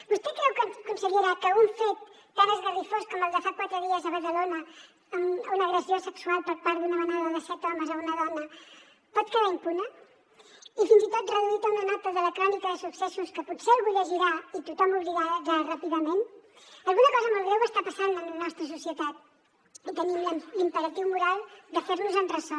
vostè creu consellera que un fet tan esgarrifós com el de fa quatre dies a badalona una agressió sexual per part d’una manada de set homes a una dona pot quedar impune i fins i tot reduït a una nota de la crònica de successos que potser algú llegirà i tothom oblidarà ràpidament alguna cosa molt greu està passant en la nostra societat i tenim l’imperatiu moral de fer nos en ressò